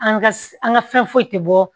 An ka an ka fɛn foyi tɛ bɔ